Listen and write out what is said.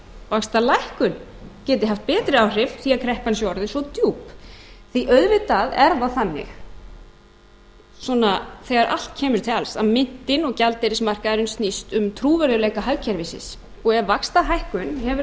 vaxtalækkun geti haft betri áhrif því kreppan sé orðin svo djúp því auðvitað er það þannig þegar allt kemur til alls að myntin og gjaldeyrismarkaðurinn snýst um trúverðugleika hagkerfisins og ef vaxtahækkun hefur þess